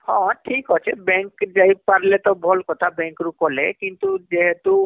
ହଁ ଠିକ ଅଛି bank ରୁ ଯାଇ ପାରିଲେ ତ ଭଲ କଥା bank ରୁ କଲେ କିନ୍ତୁ ଯେହେତୁ